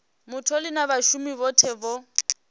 mutholi na vhashumi vhothe vho